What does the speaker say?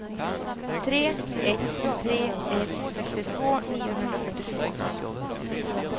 tre ett tre ett sextiotvå niohundrafyrtiotvå